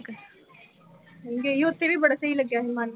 ਗਈ ਉਥੇ ਵੀ ਬੜਾ ਸਹੀ ਲੱਗਿਆ ਸੀ ਮਨ ਨੂੰ।